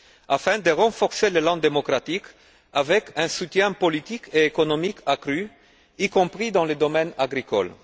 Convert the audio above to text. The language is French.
afin de renforcer l'élan démocratique par un soutien politique et économique accru, y compris dans le domaine agricole.